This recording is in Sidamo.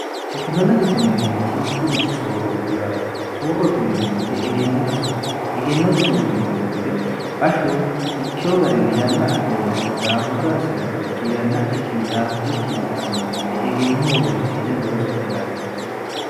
tekinolojetineemmorichi mitturichi soorrooti yaate soorrootineemmoyete egennote oo egennote soorrineemmoweete bashsho ikkeho garinni yanna adheennaikko daafurre assinanniricho yannadhikkinni daafurrikkinni assineemmo gede egennoho roonsi'ne loosate yaate